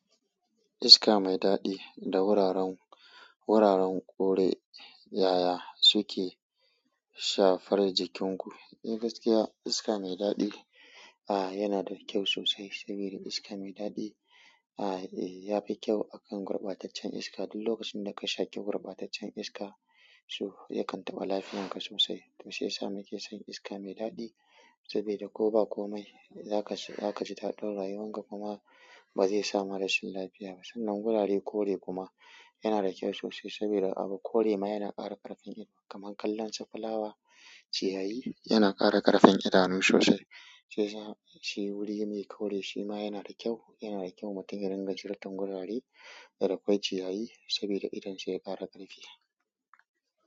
Iska mai daɗi da wuraren, wuraren ƙore ƴaƴa suke shafar jikinku. Eh gaskiya iska mai daɗi, ah yana da kyau sosai sabi da iska mai daɗi, ah eh ya fi kyau akan gurɓataccen iska. Duk lokacin da ka shaƙi gurɓataccen iska, so yakan taɓa lafiyanka sosai. To shiyasa muke son iska mai daɗi saboda ko ba komai, za ka ji, za ka ji daɗin rayuwanka kuma. Ba zai sama rashin lafiya ba. Sannan gurare ƙore kuma yana da kyau sosai saboda abu ƙore ma yana ƙara ƙarfin idanu kaman kallon su fulawa, ciyayi yana ƙara ƙarfin idanu sosai. Shi ya sa shi guri mai kore shima yana da kyau yana da kyau mutum ya rinƙa ziyarta wurare. Da kwai ciyayi saboda idan sa ya ƙara ƙarfi.